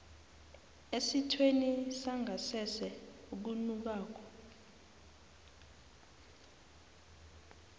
esithweni sangasese okunukako